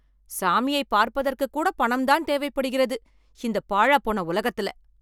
சாமியை பார்ப்பதற்கு கூட பணம்தான் தேவைபடுகிறது. இந்த பாலாப்போன உலகத்துல.